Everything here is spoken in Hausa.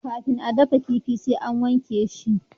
kafin a dafa kifi sai an wake shi